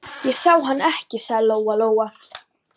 Ég sá hann ekki, sagði Lóa-Lóa.